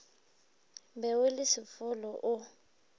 be o le sefolo o